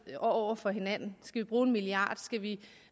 og over for hinanden skal vi bruge en milliard skal vi